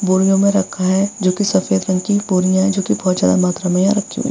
बोरियो में रखा है जो कि सेफद रंग की बोरियां है जो कि बोहोत ज्यादा मात्रा में हैं रखी हुई।